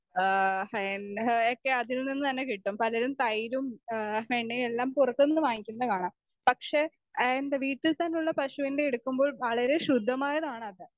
Speaker 2 ആഹ് എല്ലാമൊക്കെ അതിൽ നിന്ന് തന്നെ കിട്ടും.പലരും തൈരും ഏഹ് വെണ്ണയുമെല്ലാം പുറത്തുന്ന് വാങ്ങിക്കുന്ന കാണാം പക്ഷെ ആ വീട്ടിൽ തന്നെയുള്ള പശുവിൻ്റെ എടുക്കുമ്പോൾ വളരെ ശുദ്ധമായതാണത്.